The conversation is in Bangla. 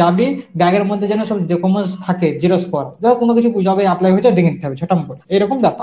যাবি bag এর মধ্যে যেন সব documents থাকে xerox করা, ধর কোন কিছু job এ apply হয়েছে ডেকে নিতে হবে ঝটাম করে, এরকম ব্যাপার.